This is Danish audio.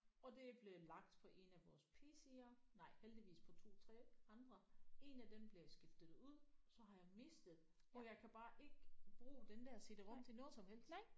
Og det er blevet lagt på en af vores PC'er nej heldigvis på 2 3 andre en af dem bliver skiftet ud så har jeg mistet og jeg kan bare ikke bruge den der CD-rom til noget som helst